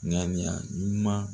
Ŋaniya ɲuman